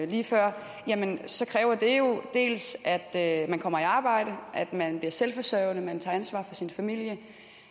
lige før så kræver det jo dels at man kommer i arbejde at man bliver selvforsørgende at man tager ansvar for sin familie